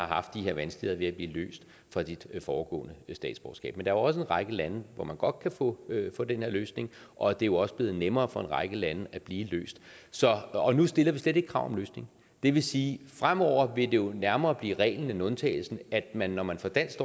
haft de her vanskeligheder ved at blive løst fra det foregående statsborgerskab men jo også en række lande hvor man godt kan få den her løsning og det er jo også blevet nemmere for en række lande at blive løst og nu stiller vi slet ikke krav om løsning det vil sige at fremover vil det jo nærmere blive reglen end undtagelsen at man når man får dansk